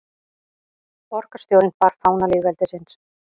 Borgarstjórinn bar fána lýðveldisins